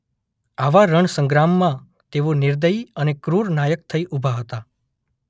આવા રણસંગ્રામમાં તેઓ નિર્દયી અને ક્રૂર નાયક થઈ ઊભા હતા.